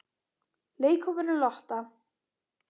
Leikhópurinn Lotta?